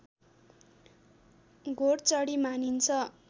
घोडचढी मानिन्छ